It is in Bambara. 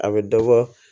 A bɛ dɔ bɔ